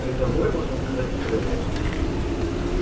призовой можно сказать стрелок